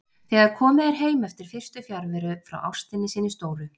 Þegar komið er heim eftir fyrstu fjarveru frá ástinni sinni stóru.